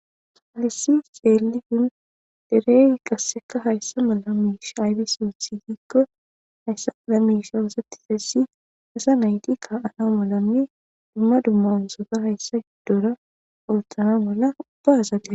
Hassi xeelizay derey qasseka hayssa malla mishshi aybissi oththize giiko hayssa malla mishshi ossetizayssi asa naytti ka'anna maalanne dumma dumma ooththota hayssa giddora oththana malla ubba assata...